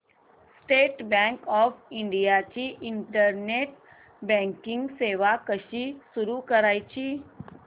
state bank of India ची internet banking सेवा कशी सुरू करायची